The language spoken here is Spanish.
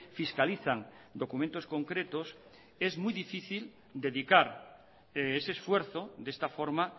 fiscalizan documentos concretos es muy difícil dedicar ese esfuerzo de esta forma